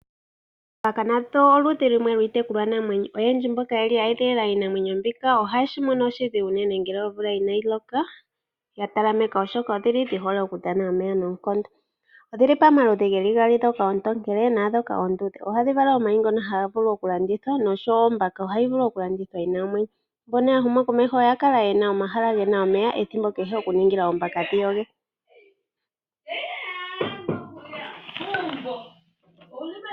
Oombaka nadho oludhi lumwe lwiitekulwanamwenyo. Oyendji mboka ye edhilila iinamwenyo mbika ohaye shi mono oshidhigu ngele omvula inaayi loka ya talameka, oshoka odhi hole okudhana omeya noonkondo. Odhi li pamaludhi gaali, ndhoka oontokele naandhoka oonduudhe. Ohadhi vala omayi ngoka haga vulu okulandithwa nosho wo ombaka ohayi vulu okulandithwa yi na omwenyo. Mboka ya huma komeho oya kala ye na omahala ge na omeya ethimbo kehe ya ningila oombaka dhi yoge.